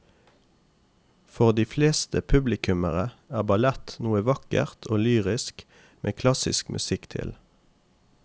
For de fleste publikummere er ballett noe vakkert og lyrisk med klassisk musikk til.